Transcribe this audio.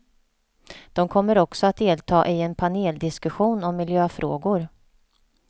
De kommer också att delta i en paneldiskussion om miljöfrågor.